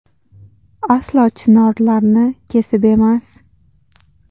Aslo chinorlarni kesib emas.